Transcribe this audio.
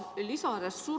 Arusaadav kõik.